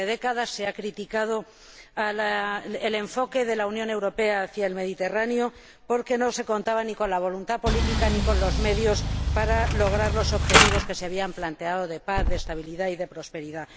Durante décadas se ha criticado el enfoque de la Unión Europea hacia el Mediterráneo porque no se contaba ni con la voluntad política, ni con los medios para lograr los objetivos que se habían planteado de paz, de estabilidad y de prosperidad.